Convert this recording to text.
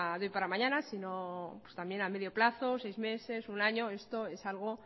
de hoy para mañana sino también a medio plazo seis meses un año esto es algo